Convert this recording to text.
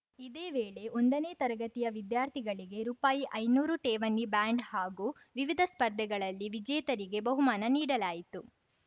ಇದೇ ವೇಳೆ ಒಂದನೇ ತರಗತಿಯ ವಿದ್ಯಾರ್ಥಿಗಳಿಗೆ ರೂಪಾಯಿಐನೂರು ಠೇವಣಿ ಬ್ಯಾಂಡ್ ಹಾಗೂ ವಿವಿಧ ಸ್ಪರ್ಧೆಗಳಲ್ಲಿ ವಿಜೇತರಿಗೆ ಬಹುಮಾನ ನೀಡಲಾಯಿತು